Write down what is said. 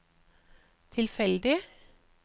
tilfeldig